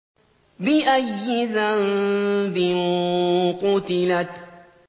بِأَيِّ ذَنبٍ قُتِلَتْ